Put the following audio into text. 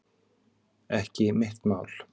Ekki mitt mál